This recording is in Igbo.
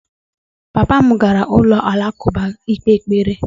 Papa m gara ụlọ alakụba ikpe ekpere.